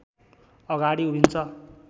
अगाडि उभिन्छ